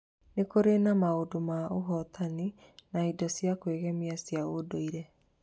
Nĩ kũrĩ na maũndũ ma ũhootani na indo cia kwĩgemia cia ũndũire.